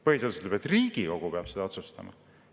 Põhiseadus ütleb, et Riigikogu peab seda otsustama.